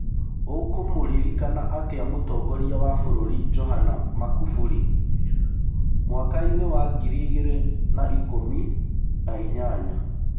ũkũmũririkana atĩa mũtongorĩa wa bũrũri Johana Makuburi mwakai-nĩ wa ngiri igĩrĩ na ikũmi na inyanya?